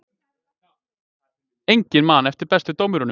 Enginn man eftir bestu dómurunum